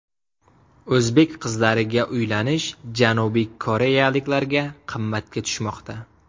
O‘zbek qizlariga uylanish janubiy koreyaliklarga qimmatga tushmoqda.